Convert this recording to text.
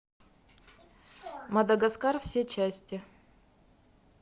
мадагаскар все части